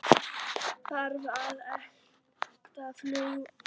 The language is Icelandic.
Þarf að efla fullveldið?